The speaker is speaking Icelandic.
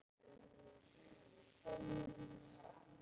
Alla, sagði hann.